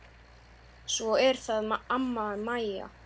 Svo er það amma Mæja.